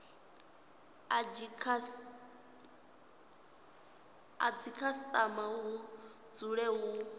a dzikhasitama hu dzule hu